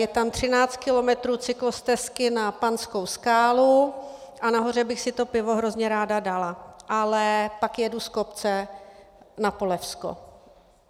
Je tam 13 kilometrů cyklostezky na Panskou skálu a nahoře bych si to pivo hrozně ráda dala, ale pak jedu z kopce na Polevsko.